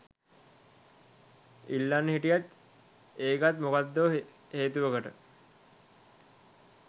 ඉල්ලන්න හිටියත් ඒකත් මොකක්දෝ හේතුවකට